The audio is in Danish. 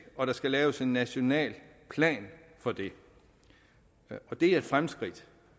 og der skal laves en national plan for dette og det er et fremskridt